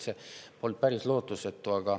See polnud päris lootusetu.